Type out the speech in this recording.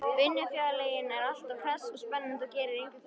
Vinnufélaginn er alltaf hress og spennandi og gerir engar kröfur.